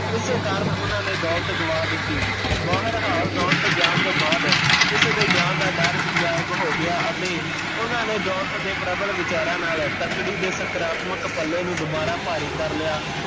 ਇਸੇ ਕਾਰਣ ਓਹਨਾਂ ਨੇ ਦੋਲਤ ਗਵਾ ਦਿੱਤੀ, ਦੋਲਤ ਜਾਣ ਤੋਂ ਬਾਦ ਇਸ ਦੇ ਜਾਣ ਦਾ ਡਰ ਵੀ ਗਾਇਬ ਹੋ ਗਿਆ ਅਤੇ ਓਹਨਾਂ ਨੇ ਦੋਲਤ ਦੇ ਪ੍ਰਬਲ ਵਿਚਾਰਾ ਨਾਲ਼ ਤੱਕੜੀ ਦੇ ਸਕਰਾਤਮਕ ਪੱਲੇ ਨੂ ਦਵਾਰਾਂ ਭਾਰੀ ਕਰ ਲਿਆ